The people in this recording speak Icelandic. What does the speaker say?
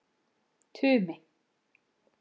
Tumi